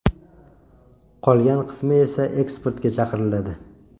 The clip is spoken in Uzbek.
Qolgan qismi esa eksportga chiqariladi.